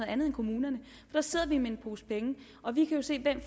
andet end kommunerne der sidder de med en pose penge og vi kan jo se hvem